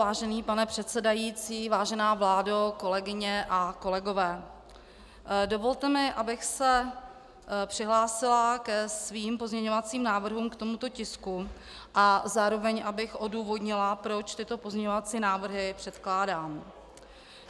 Vážený pane předsedající, vážená vládo, kolegyně a kolegové, dovolte mi, abych se přihlásila ke svým pozměňovacím návrhům k tomuto tisku a zároveň abych odůvodnila, proč tyto pozměňovací návrhy předkládám.